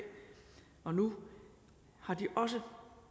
og nu har de også